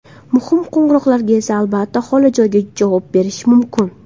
Muhim qo‘ng‘iroqlarga esa, albatta, holi joyda javob berish mumkin.